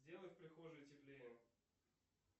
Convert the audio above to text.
сделай в прихожей теплее